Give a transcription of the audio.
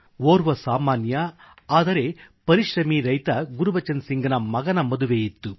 ಓರ್ವ ಸಾಮಾನ್ಯ ಆದರೆ ಪರಿಶ್ರಮೀ ರೈತ ಗುರ್ಬಚನ್ ಸಿಂಘ್ನ ಮಗನ ಮದುವೆಯಿತ್ತು